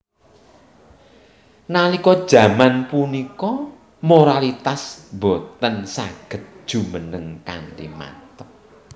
Nalika jaman punika moralitas boten saged jumeneng kanthi manteb